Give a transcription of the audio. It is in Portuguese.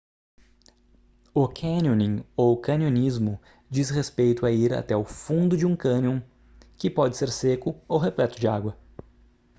o canyoning ou canionismo diz respeito a ir até o fundo de um cânion que pode ser seco ou repleto de água